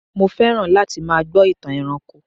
mo fẹràn láti má gbó itan ẹranko